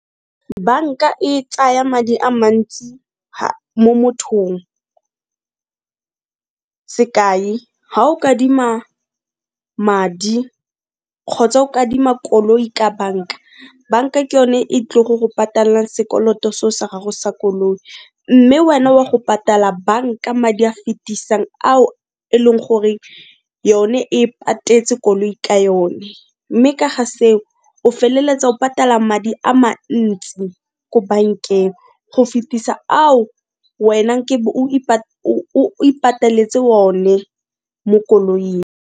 Banka e tsaya madi a mantsi mo mothong, sekai ga o ka adima madi kgotsa o ka adima koloi ka banka, banka ke yone e tlile go go patallang sekoloto se o sa gago sa koloi mme wena wa go patala banka madi a fetisang ao e leng gore yone e patetse koloi ka yone, mme ka ga seo o feleletsa o patala madi a mantsi ko bankeng go fetisa ao wena nke o ipateletse o ne mo koloing.